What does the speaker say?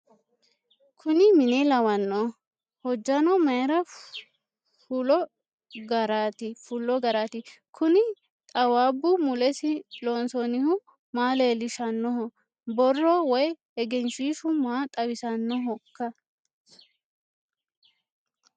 kuni mine lawanno ? hojjano mayra fullo garati ? kuni xaawaabbu mulesi loonsoonnihu maa leellishsannoho borro woy egenshshiishu maa xawisannohoiika